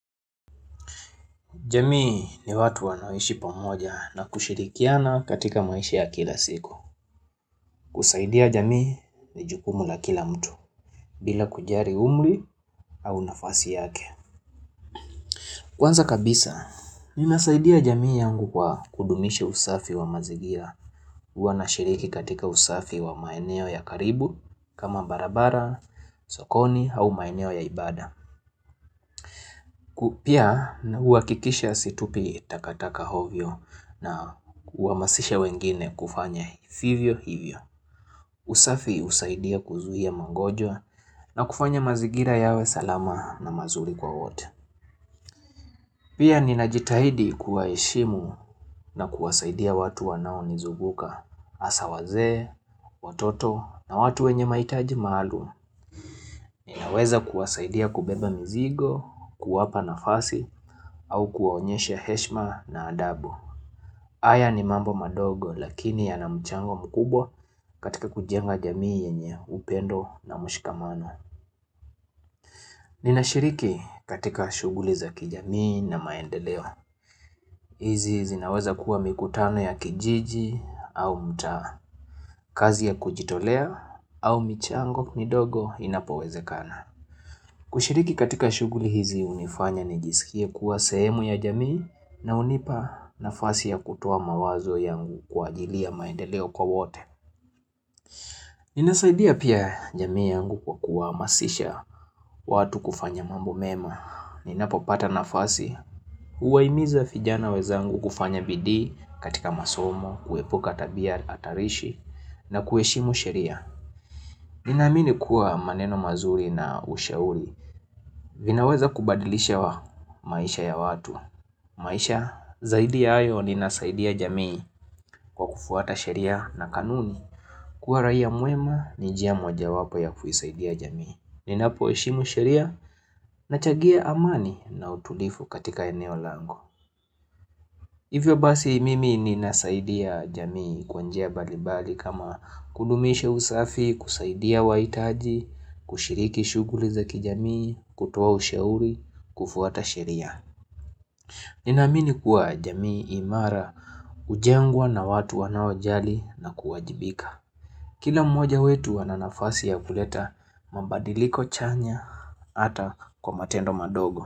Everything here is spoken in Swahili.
Jamii ni watu wanaoishi pamoja na kushirikiana katika maishi ya kila siku. Kusaidia jamii ni jukumu la kila mtu, bila kujali umri au nafasi yake. Kwanza kabisa, ninasaidia jamii yangu kwa kudumishi usafi wa mazigira. Huwa na shiriki katika usafi wa maeneo ya karibu, kama barabara, sokoni, au maeneo ya ibada. Kufanya vivyo hivyo. Usafi husaidia kuzuhia mangojwa na kufanya mazigira yawe salama na mazuri kwa wote. Pia ninajitahidi kuwaheshimu na kuwasaidia watu wanao nizunguka. Hasa wazee, watoto na watu wenye maitaji maalum. Ninaweza kuwasaidia kubeba mzigo, kuwapa nafasi au kuwaonyesha heshima na adabu. Haya ni mambo madogo lakini yana mchango mkubwa katika kujenga jamii Nina shiriki katika shuguli za kijamii na maendeleo. Hizi zinaweza kuwa mikutano ya kijiji au mtaa kazi ya kujitolea au michango midogo inapowezekana. Kushiriki katika shuguli hizi hunifanya nijisikie kuwa sehemu ya jamii na hunipa nafasi ya kutoa mawazo yangu kwa ajili ya maendeleo kwa wote. Ninasaidia pia jamii yangu kwa kuwahamasisha watu kufanya mambo mema. Ninapo pata nafasi. Uwahimiza vijana wenzaangu kufanya bidii katika masomo, kuepuka tabia hatarishi na kuheshimu sheria. Ninaamini kuwa maneno mazuri na ushauri vinaweza kubadilisha maisha ya watu. Maisha, zaidi ya hayo ninasaidia jamii kwa kufuata sheria na kanuni. Kuwa raia muema ni njia moja wapo ya kuisaidia jamii. Ninapo heshimu sheria na changia amani na utulivu katika eneo langu. Hivyo basi mimi ninasaidia jamii kwanjia mbalimbali kama kudumisha usafi, kusaidia waitaji, kushiriki shuguli za kijamii, kutoa ushauri, kufuata sheria. Ninaamini kuwa jamii imara hujengwa na watu wanaojali na kuwajibika. Kila mmoja wetu ananafasi ya kuleta mabadiliko chanya hata kwa matendo madogo.